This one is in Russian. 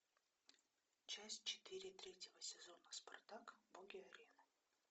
часть четыре третьего сезона спартак боги арены